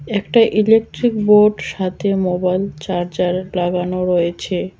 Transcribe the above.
একটা electric board সাথে mobile charger লাগানো রয়েছে।